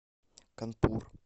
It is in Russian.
канпур